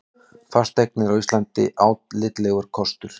Fasteignir á Íslandi álitlegur kostur